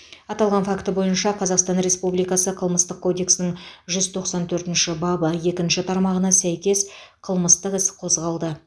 аталған факті бойынша қазақстан республикасы қылмыстық кодексінің жүз тоқсан төртінші бабы екінші тармағына сәйкес қылмыстық іс қозғалды